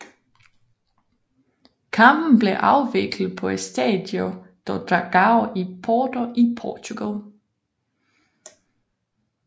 Kampen blev afviklet på Estádio do Dragão i Porto i Portugal